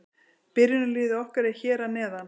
Byrjunarliðið okkar er hér að neðan.